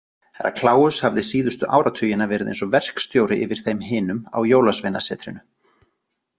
Herra Kláus hafði síðustu áratugina verið eins og verkstjóri yfir þeim hinum á Jólasveinasetrinu.